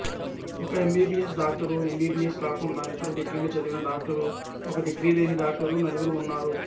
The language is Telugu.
ఒక ఎమ్బీబీయెస్ డాక్టరు ఎమ్బీబీయెస్ కాకుండా ఇతర డిగ్రీలు చదివిన డాక్టరు ఒకరు డిగ్రీ లేని డాక్టర్లు నలుగురు ఉన్నారు